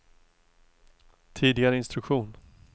tidigare instruktion